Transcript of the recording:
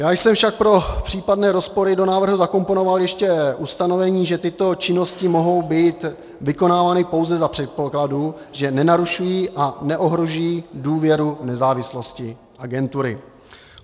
Já jsem však pro případné rozpory do návrhu zakomponoval ještě ustanovení, že tyto činnosti mohou být vykonávány pouze za předpokladu, že nenarušují a neohrožují důvěru nezávislosti agentury.